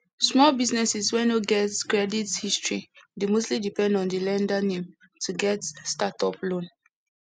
small businesses wey no get credit history dey mostly depend on di lender name to get stsrtup loan